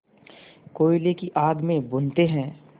कोयले की आग में भूनते हैं